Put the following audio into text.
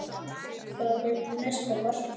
Hvað er næsta markmið?